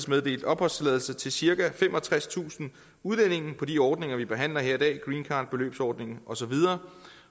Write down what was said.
meddelt opholdstilladelse til cirka femogtredstusind udlændinge på de ordninger vi behandler her i dag greencard beløbsordningen og så videre